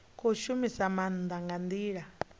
khou shumisa maanda nga ndila